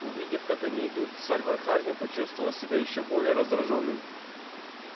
увидев как они идут сальвор хардин почувствовал себя ещё более раздражённым